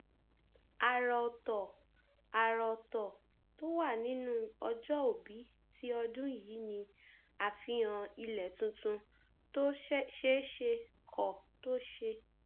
àrà ọtọ àrà ọtọ tó wà nínú ọjọòbí ti ọdún yìí ni àfihàn ilẹ tuntun tó ṣèṣe kọ tó ṣe